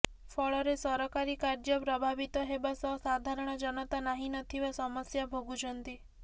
ଫଳରେ ସରକାରୀ କାର୍ଯ୍ୟ ପ୍ରଭାବିତ ହେବା ସହ ସାଧାରଣ ଜନତା ନାହିଁ ନଥିବା ସମସ୍ୟା ଭୋଗୁଛନ୍ତି